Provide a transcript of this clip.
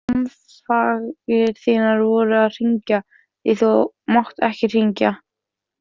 Samfangar þínir voru að hringja, því þú mátt ekki hringja.